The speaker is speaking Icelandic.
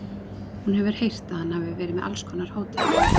Hún hefur heyrt að hann hafi verið með alls konar hótanir.